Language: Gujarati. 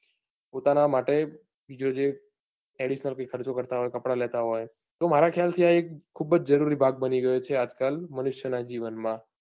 પોતાના માટે જો જે additional જે ખર્ચો કરતા હોય, કપડા લેતા હોય તો મારા ખ્યાલ થી આ એક ખુબજ જરૂરી ભાગ બની ગયો છે આજકાલ મનુષ્ય નાં જીવન માં